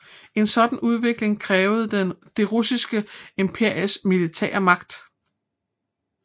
En sådan udvikling krævede det russiske imperiums militære magt